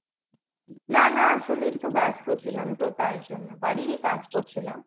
না না আসলে একটু ব্যাস্ত ছিলাম তো তাইজন্য বাড়ির ই কাজ করছিলাম।